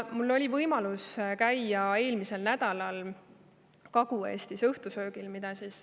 Mul oli võimalus käia eelmisel nädalal Kagu-Eestis õhtusöögil.